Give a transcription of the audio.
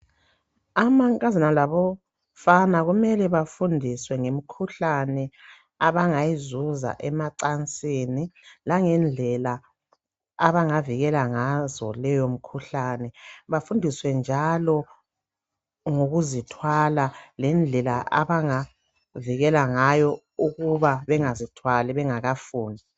Amankazana labafana kumele bafundiswe ngemikhuhlane abangayizuza emacansini. Langendlela abangavikela ngazo leyomikhuhlane. Bafundiswe njalo ngokuzithwala. Lendlela abangavikela ngayo, ukuthi bengazithwala, bengakafuni.